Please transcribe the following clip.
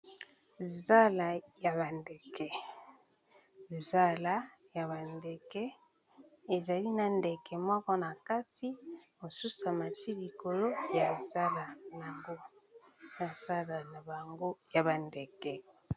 Zala ya ba ndeke, zala ya ba ndeke, ezali na ndeke moko na kati, mosusu a mati likolo ya zala na bango, ya ba bandeke .